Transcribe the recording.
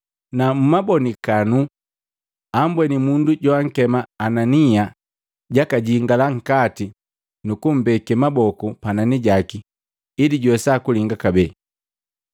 na mmabonikanu ambweni mundu joankema Anania jakajingila nkati nukumbeke maboku panani jaki ili juwesa kulinga kabee.”